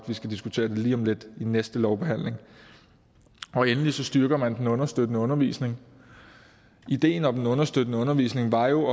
vi skal diskutere det lige om lidt næste lovbehandling endelig styrker man den understøttende undervisning ideen om den understøttende undervisning var jo